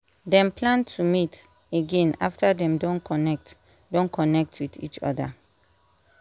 dem plan to meet again after dem don connect don connect with each other